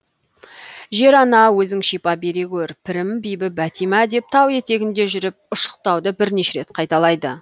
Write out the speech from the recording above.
жер ана өзің шипа бере гөр пірім бибі бәтима деп тау етегінде жүріп ұшықтауды бірнеше рет қайталайды